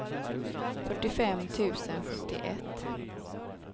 fyrtiofem tusen sjuttioett